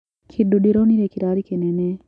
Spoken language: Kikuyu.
Kĩndũ ndĩronire kĩrarĩ kĩnene.